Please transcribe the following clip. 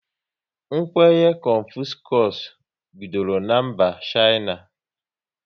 Kwenye Confuscus bidoro na mba Shaina